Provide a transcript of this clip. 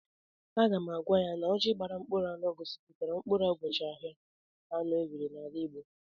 Aga m agwa ya na ọjị gbara mkpụrụ anụ gosipụtara mkpụrụ ụbọchị ahịa anọ enwere n'ala Igbo.